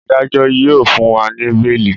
Adájo yíò fún wá ní beeli.